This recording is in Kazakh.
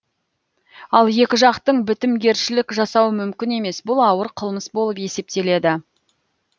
ал екі жақтың бітімгершілік жасауы мүмкін емес бұл ауыр қылмыс болып есептеледі